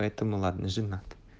поэтому ладно женат